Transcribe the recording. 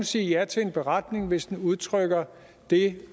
sige ja til en beretning hvis den udtrykker det